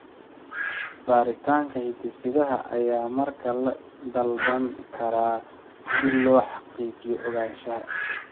Baaritaanka hidde-sidaha ayaa markaa la dalban karaa si loo xaqiijiyo ogaanshaha.